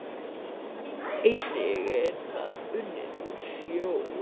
Einnig er það unnið úr sjó